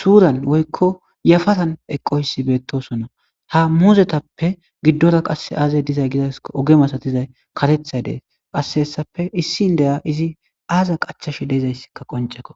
suuran woykko yafatan eqqoyssi beettosona ha muuzetappe giddora qasse aazay dizay gizaa oge masatizay katethay dees qasse hessappe issin deya izi aaza qachashe deezayssikka qonceko